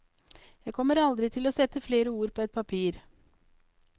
Jeg kommer aldri til å sette flere ord på et papir.